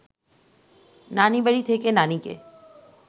নানিবাড়ি থেকে নানিকে